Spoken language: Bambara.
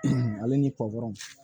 ale ni pɔkɔnɔn